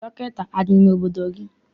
Dọkịta adị n'obodo gị?